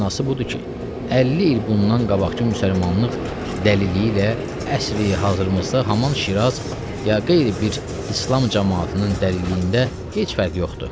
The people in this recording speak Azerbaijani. Mənası budur ki, 50 il bundan qabaqkı müsəlmanlıq dəliliyi ilə əsri hazırımızda haman Şiraz ya qeyri bir İslam camaatının dəliliyində heç fərq yoxdur.